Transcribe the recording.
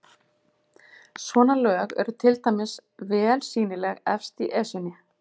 Svona lög eru til dæmis vel sýnileg efst í Esjunni.